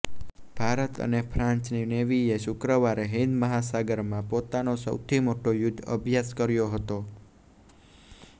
ભારત અને ફ્રાન્સની નેવીએ શુક્રવારે હિંદ મહાસાગરમાં પોતાનો સૌથી મોટો યુદ્ધ અભ્યાસ કર્યો હતો